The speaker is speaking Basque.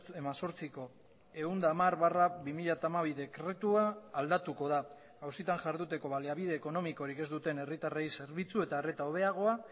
hemezortziko ehun eta hamar barra bi mila hamabi dekretua aldatuko da auzitan jarduteko baliabide ekonomikorik ez duten herritarrei zerbitzu eta arreta hobeagoa